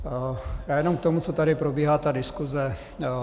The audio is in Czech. Já jenom k tomu, co tady probíhá ta diskuse.